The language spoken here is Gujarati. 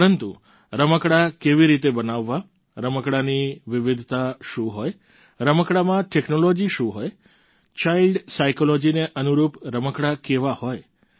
પરંતુ રમકડાં કેવી રીતે બનાવવા રમકડાંની વિવિધતા શું હોય રમકડાંમાં ટેક્નોલોજી શું હોય ચાઈલ્ડ સાઈકોલોજીને અનુરૂપ રમકડાં કેવા હોય